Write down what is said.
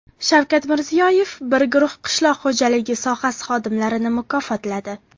Shavkat Mirziyoyev bir guruh qishloq xo‘jaligi sohasi xodimlarini mukofotladi.